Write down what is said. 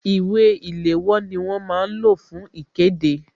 Ìwé ìléwọ́ ni wọ́n máa ń lò fún ikede